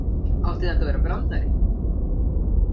Átti þetta að vera brandari?